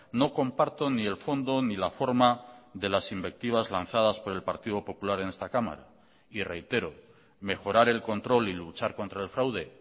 no comparto ni el fondo ni la forma de las invectivas lanzadas por el partido popular en esta cámara y reitero mejorar el control y luchar contra el fraude